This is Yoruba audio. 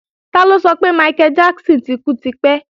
Tọ́lá sọ pé Michael Jackson ti kú tipẹ́